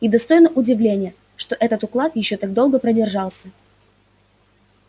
и достойно удивления что этот уклад ещё так долго продержался